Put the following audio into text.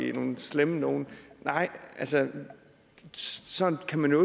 er nogle slemme nogle nej sådan sådan kan man jo